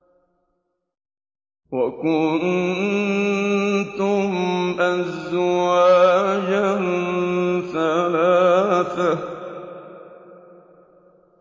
وَكُنتُمْ أَزْوَاجًا ثَلَاثَةً